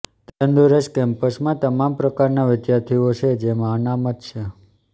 તંદુરસ્ત કેમ્પસમાં તમામ પ્રકારના વિદ્યાર્થીઓ છે જેમાં અનામત છે